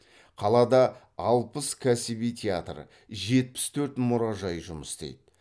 қалада алпыс кәсіби театр жетпіс төрт мұражай жұмыс істейді